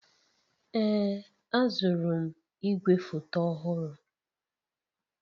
Ee, azụrụ m igwefoto ọhụrụ.